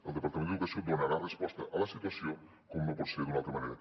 el departament d’educació donarà resposta a la situació com no pot ser d’una altra manera